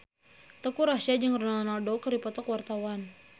Teuku Rassya jeung Ronaldo keur dipoto ku wartawan